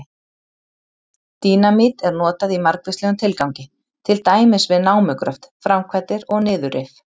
Dínamít er notað í margvíslegum tilgangi, til dæmis við námugröft, framkvæmdir og niðurrif.